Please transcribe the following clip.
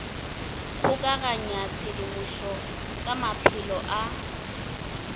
kgokaganya tshedimošo ka maphelo a